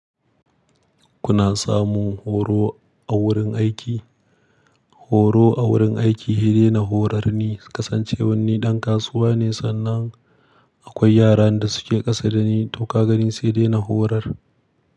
Kuna samu horo a wurin aiki? Horo a wurin aiki heɗe na horar ni, kasancewan ni ɗan kasuwa ne sannan akwai yaran da suke ƙasa da ni, to kaga ni sai dena horar.